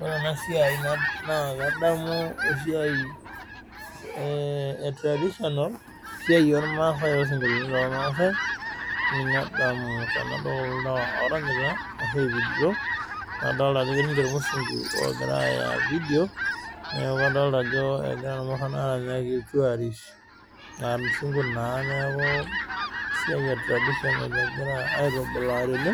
Ore ena siai naa kadamu esiai ee traditional esiai ormaasai loosinkolioti lormaasai ninye adamu tenadol kulo tung'anak orranyita ashu oipidito nadolta ajo etii irmusungu oogira aaya video neeku kadolta egira irmurran aaranyaki iltuorists aa irmusungu naa neeku esiai e tradition egira aitubulaa tene